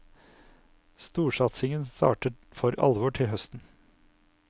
Storsatsingen starter for alvor til høsten.